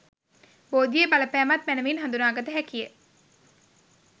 බෝධියේ බලපෑමත් මැනැවින් හඳුනාගත හැකි ය.